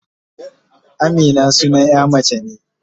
Amina sunan ƴa mace ne.